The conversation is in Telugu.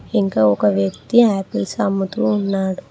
ఇంకా ఒక వ్యక్తి యాపిల్స్ అమ్ముతూ ఉన్నాడు.